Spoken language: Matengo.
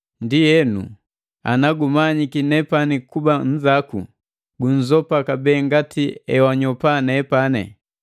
Ndienu, ana gumanyiki nepani kuba nnzaku, gunzopa kabee ngati emwakanyopa nepani.